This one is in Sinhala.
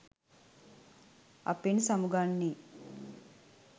අපෙන් සමුගන්නෙ?